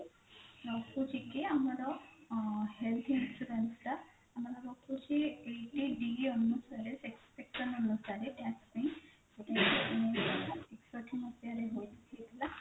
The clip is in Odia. ରହୁଛି କି ଆମର health insurance ଟା ଆମର ରହୁଛି eighty D ଅନୁସାରେ section ଅନୁସାରେ tax ପାଇଁ ଗୋଟେ ଏକଷଠି ମସିହାରେ ଏକଷଠି ମସିହାରେ ହୋଇଥିଲା